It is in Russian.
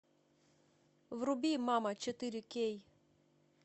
вруби мама четыре кей